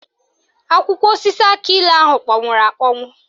Akwụkwọ osisi akịilụ ahụ kpọnwụrụ akpọnwụ